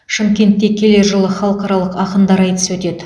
шымкентте келер жылы халықаралық ақындар айтысы өтеді